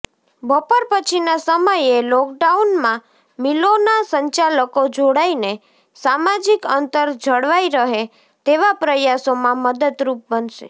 બપોર પછીના સમયે લોકડાઉનમાં મિલોના સંચાલકો જોડાઈને સામાજિક અંતર જળવાઈ રહે તેવા પ્રયાસોમાં મદદરૂપ બનશે